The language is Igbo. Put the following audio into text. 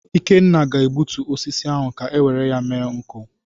Ikenna ga-egbutu osisi ahụ ka o were ya mere nkụ.